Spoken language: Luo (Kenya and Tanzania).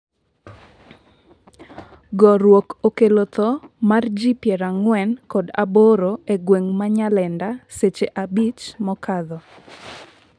gorruok okello tho mar ji piero ang'wen kod aboro e gweng' ma Nyalenda seche abich mokadho